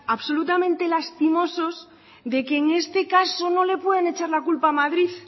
absolutamente lastimosos de que en este caso no le pueden echar la culpa a madrid